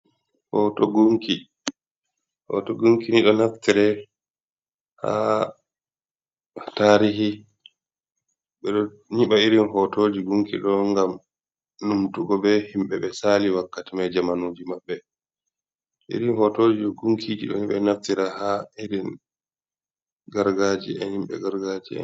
Hoto gunki ni ɗo naftire ha tarihi beɗo nyiɓa irin hotoji gunki ɗo ngam numtugo be himɓe ɓe sali wakkati mai jamanuji maɓɓe irin hotoji j gunkiji ɗoni ɗon naftira ha irin gargajiya himbe gargajiya en.